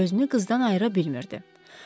Gözünü qızdan ayıra bilmirdi.